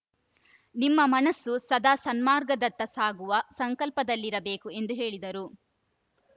ನಿಮ್ಮ ಮನಸ್ಸು ಸದಾ ಸನ್ಮಾರ್ಗದತ್ತ ಸಾಗುವ ಸಂಕಲ್ಪದಲ್ಲಿರಬೇಕು ಎಂದು ಹೇಳಿದರು